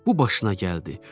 Bu başına gəldi.